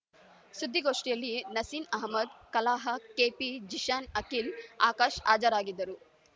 ಸುದ್ದಿ ಗೋಷ್ಠಿಯಲ್ಲಿ ನಸೀನ್ ಅಹಮದ್ ಕಲಾಹ ಕೆಪಿ ಜಿಷಾನ್ ಅಖಿಲ್ ಆಕಾಶ್ ಹಾಜರಿದ್ದರು